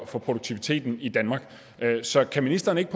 for produktiviteten i danmark så kan ministeren ikke